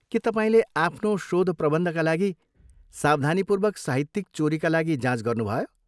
के तपाईँले आफ्नो शोधप्रबन्धका लागि सावधानीपूर्वक साहित्यिक चोरीका लागि जाँच गर्नुभयो?